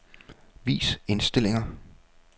Vis indstillinger.